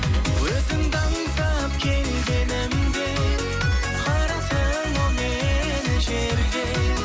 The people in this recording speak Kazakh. өзіңді аңсап келгенімде қараттың ау мені жерге